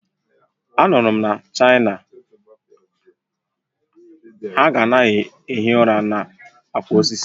A nụrụ m na China, a ka na-ehi ụra na akwa osisi